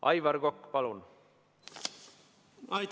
Aivar Kokk, palun!